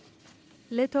leiðtogar